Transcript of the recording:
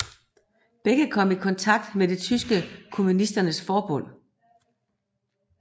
Begge kom i kontakt med det tyske Kommunisternes Forbund